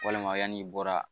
Walima yann'i bɔra